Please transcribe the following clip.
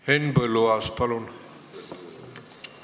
Henn Põlluaas, palun!